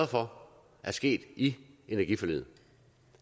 for er sket i energiforliget